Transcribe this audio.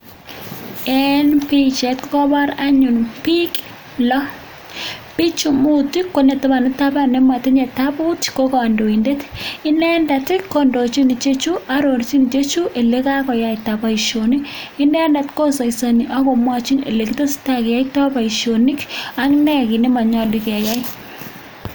En bichait kokabar anyun bik lo bichu mut konetabanu taban komatinye kitabut ko kandoindet inendet kondochin ichechu elekakiyaita Baishonik inendet kosaisoni akomwachi olekitestai ak ilekiyoitoi Baishonik ak NE kit nemanyalu keyai